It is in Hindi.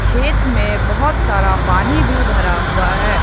खेत में बहुत सारा पानी भी भरा हुआ है।